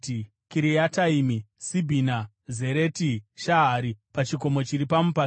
Kiriataimi, Sibhima Zereti Shahari pachikomo chiri mumupata,